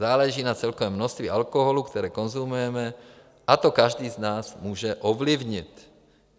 Záleží na celkovém množství alkoholu, které konzumujeme, a to každý z nás může ovlivnit.